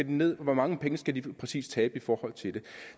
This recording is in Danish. ned og hvor mange penge skal de præcist tabe i forhold til det